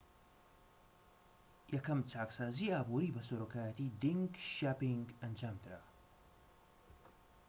یەکەم چاکسازی ئابووری بە سەرۆکایەتی دینگ شیاپینگ ئەنجامدرا